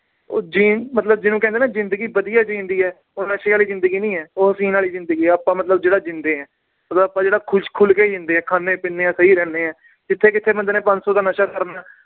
ਉਹ ਜੀਣ~ ਮਤਲਬ ਜਿਹਨੂੰ ਕਹਿੰਦੇ ਨਾ ਜ਼ਿੰਦਗੀ ਵਧੀਆ ਜਿਉਂਦੀ ਹੈ ਉਹ ਨਸ਼ੇ ਵਾਲੀ ਜ਼ਿੰਦਗੀ ਨੀ ਹੈ ਉਹ ਜੀਨ ਵਾਲੀ ਜ਼ਿੰਦਗੀ ਹੈ ਆਪਾਂ ਮਤਲਬ ਜਿਹੜਾ ਜਿਉਂਦੇ ਹਾਂ, ਮਤਲਬ ਆਪਾਂ ਜਿਹੜਾ ਖ਼ੁਸ਼ ਖੁਲਕੇ ਜਿਉਂਦੇ ਹਾਂ ਖਾਂਦੇ ਪੀਂਦੇ ਹਾਂ ਸਹੀ ਰਹਿੰਦੇ ਹਾਂ ਜਿੱਥੇ ਕਿੱਥੇ ਬੰਦੇ ਨੇ ਪੰਜ ਸੌ ਦਾ ਨਸ਼ਾ ਕਰਨਾ ਹੈ l